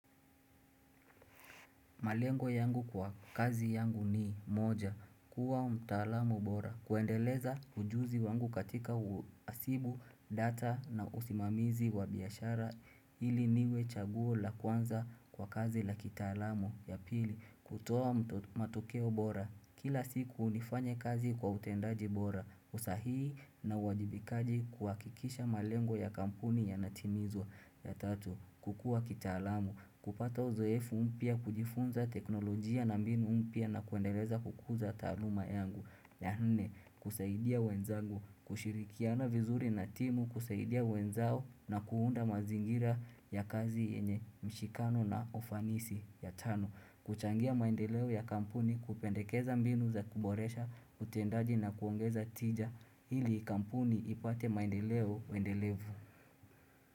Malengo yangu kwa kazi yangu ni moja, kuwa mtaalamu bora, kuendeleza ujuzi wangu katika uhasibu data na usimamizi wa biashara ili niwe chaguo la kwanza kwa kazi la kitaalamu. Ya pili, kutoa matokeo bora, kila siku nifanye kazi kwa utendaji bora, usahii na uwajibikaji kwa kuhakikisha malengo ya kampuni yanatimizwa. Ya tatu, kukua kitaalamu, kupata uzoefu mpya, kujifunza teknolojia na mbinu mpya na kuendeleza kukuza taaluma yangu ya nne, kusaidia wenzangu, kushirikiana vizuri na timu, kusaidia wenzao na kuunda mazingira ya kazi yenye mshikano na ufanisi. Ya tano, kuchangia maendeleo ya kampuni, kupendekeza mbinu za kuboresha, utendaji na kuongeza tija, ili kampuni ipate maendeleo endelevu.